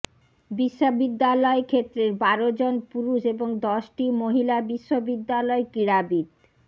বিশ্ববিদ্যালয় ক্ষেত্রের বারো জন পুরুষ এবং দশটি মহিলা বিশ্ববিদ্যালয় ক্রীড়াবিদ